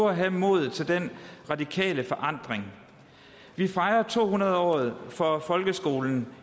at have modet til den radikale forandring vi fejrer to hundrede året for folkeskolen